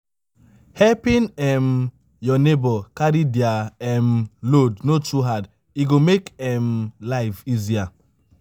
helping um your neighbor carry their um load no too hard e go make um life easier.